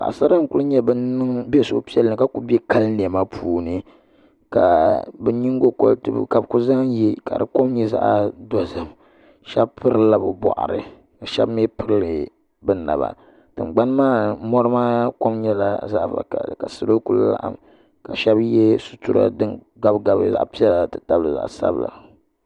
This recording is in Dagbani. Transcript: Paɣasara n ku nyɛ bin niŋ suhupiɛlli ka ku bɛ kali niɛma puuni ka bi nyingokoriti ka bi ku zaŋ yɛ ka di kom nyɛ zaɣ dozim shab piri lila bi boɣari ka shab mii pirili bi naba tingbani maa mɔri maa kom nyɛla zaɣ vakaɣali ka salo ku laɣam ka shab yɛ sitira din gabi gabi zaɣ piɛla ti tabili zaɣ sabila